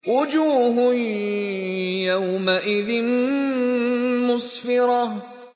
وُجُوهٌ يَوْمَئِذٍ مُّسْفِرَةٌ